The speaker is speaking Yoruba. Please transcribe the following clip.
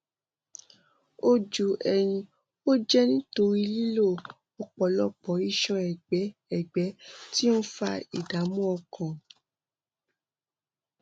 ojú ẹyin ó jẹ nítorí lílo ọpọlọpọ iṣan ẹgbẹ ẹgbẹ tí ó ń fa ìdààmú ọkàn